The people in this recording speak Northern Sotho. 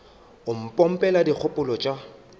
o mo pompela dikgopolo tša